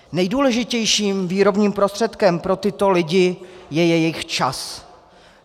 Nejdůležitějším výrobním prostředkem pro tyto lidi je jejich čas.